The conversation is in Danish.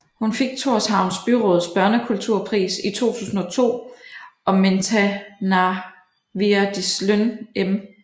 Hun fik Tórshavns byråds børnekulturpris i 2002 og Mentanarvirðisløn M